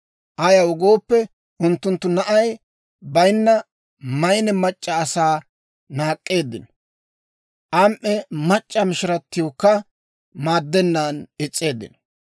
Ayaw gooppe, unttunttu na'ay bayinna maynne mac'c'a asaa naak'k'eeddino; am"e mac'c'a mishiratiwukka maaddennaan is's'eeddino.